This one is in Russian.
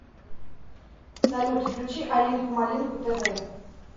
салют включи алинку малинку тэ вэ